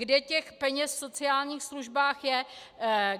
Kde těch peněz v sociálních službách je.